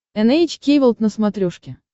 эн эйч кей волд на смотрешке